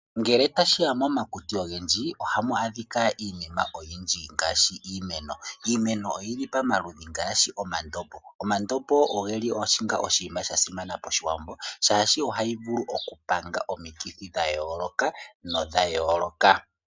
Ngele tashi ya momakuti ogendji, ohamu adhika iinima oyindji ngaashi iimeno. Iimeno oyili pomaludhi ngaashi omandombo, omandombo ogeli onga oshinima shasimana poshiwambo shaashi ohayi vulu okupanga omikithi dhayooloka nodhayooloka.